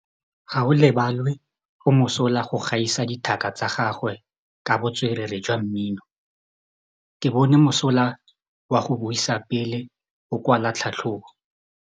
Gaolebalwe o mosola go gaisa dithaka tsa gagwe ka botswerere jwa mmino. Ke bone mosola wa go buisa pele o kwala tlhatlhobô.